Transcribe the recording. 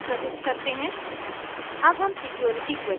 अब हम दूसरी जानकारी प्रविष्ट करते हैं